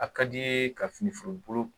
A ka d'i ye ka fini feere bolo